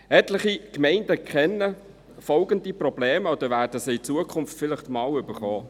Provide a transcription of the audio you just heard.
Etliche Gemeinden kennen folgende Probleme oder werden sie in Zukunft vielleicht einmal bekommen: